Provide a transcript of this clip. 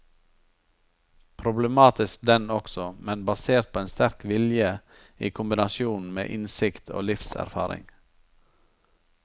Problematisk den også, men basert på en sterk vilje i kombinasjon med innsikt og livserfaring.